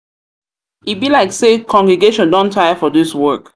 e be like say congregation don dey tire for this work.